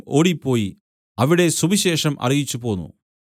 ഓടിപ്പോയി അവിടെ സുവിശേഷം അറിയിച്ചുപോന്നു